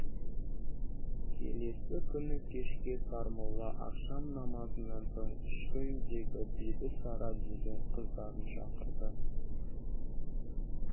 келесі күні кешке сармолла ақшам намазынан соң ішкі үйдегі бибісара деген қыздарын шақырды